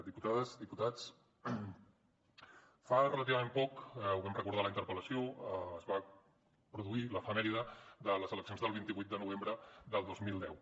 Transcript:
diputades diputats fa relativament poc ho vam recordar a la interpel·lació es va produir l’efemèride de les eleccions del vint vuit de novembre del dos mil deu